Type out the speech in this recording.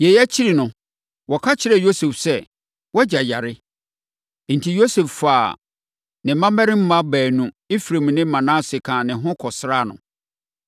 Yei akyiri no, wɔka kyerɛɛ Yosef sɛ, “Wʼagya yare.” Enti, Yosef faa ne mmammarima baanu, Efraim ne Manase kaa ne ho kɔsraa no.